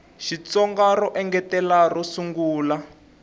xitsonga ro engetela ro sungula